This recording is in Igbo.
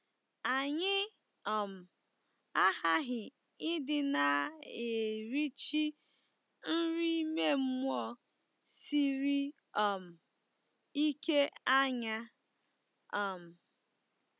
Anyị um aghaghị ịdị na - erichi nri ime mmụọ siri um ike anya um.